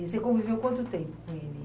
E você conviveu quanto tempo com ele?